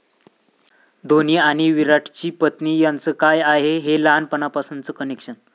धोनी आणि विराटची पत्नी यांचं काय आहे हे लहानपणापासूनचं कनेक्शन?